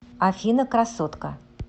афина красотка